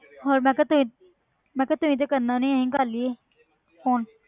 ਹੋਰ ਮੈਂ ਕਿਹਾ ਤੁਸੀਂ ਮੈਂ ਕਿਹਾ ਤੁਸੀਂ ਤੇ ਕਰਨਾ ਨੀ, ਅਸੀਂ ਕਰ ਲਈਏ phone